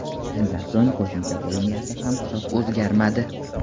Shundan so‘ng qo‘shimcha bo‘limlarda ham hisob o‘zgarmadi.